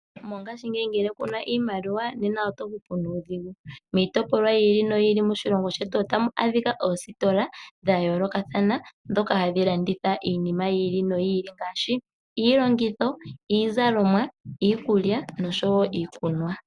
Mongashingeyi ngele ku na iimaliwa nena oto hupu nuudhigu. Miitopolwa yi ili noyi ili moshilongo shetu otamu adhika oositola dhayoolokathana, ndhoka hadhi landitha iinima yi ili noyi ili ngaashi iilongitho, iizalomwa, iikulya, noshowo iikunwa